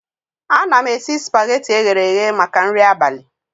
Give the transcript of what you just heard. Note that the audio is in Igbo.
Ana m esi spageti eghere eghe maka nri abalị